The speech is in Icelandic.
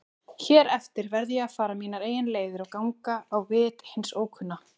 Hér eftir verð ég að fara mínar eigin leiðir og ganga á vit hins ókunna.